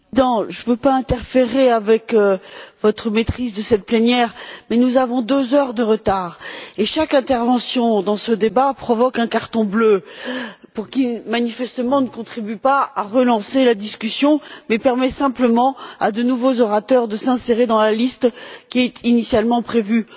Monsieur le Président, je ne veux pas interférer avec votre maîtrise de cette plénière, mais nous avons deux heures de retard et chaque intervention dans ce débat provoque un carton bleu, ce qui manifestement ne contribue pas à relancer la discussion mais permet simplement à de nouveaux orateurs de s'insérer dans la liste qui était initialement prévue.